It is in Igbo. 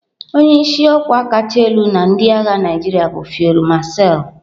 Onye isi ọkwa kacha elu na ndị agha Naijiria bụ Field Marshal.